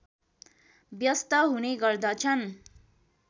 व्यस्त हुने गर्दछन्